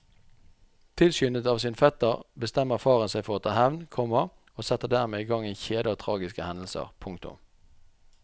Tilskyndet av sin fetter bestemmer faren seg for å ta hevn, komma og setter dermed i gang en kjede av tragiske hendelser. punktum